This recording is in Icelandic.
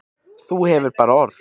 Þú hefur bara orð.